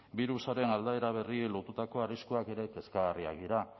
birusaren aldaera berriei lotutako arriskuak ere kezkagarriak dira